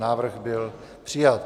Návrh byl přijat.